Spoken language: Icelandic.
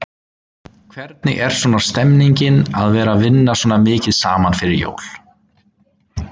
Hvernig er svona stemningin að vera vinna svona mikið saman fyrir jól?